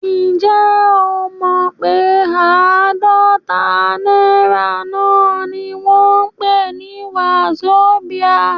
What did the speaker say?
Ǹjẹ́ o mọ pé àádọ́ta náírà náà ni wọ́n ń pè ní wazobia?